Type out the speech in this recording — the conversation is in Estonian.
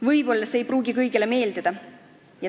Võib-olla ei pruugi see kõigile meeldida.